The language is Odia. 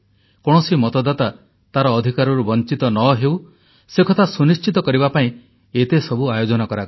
କୌଣସି ମତଦାତା ତାର ଅଧିକାରରୁ ବଞ୍ଚିତ ନ ହେଉ ସେ କଥା ସୁନିଶ୍ଚିତ କରିବା ପାଇଁ ଏତେସବୁ ଆୟୋଜନ କରାଗଲା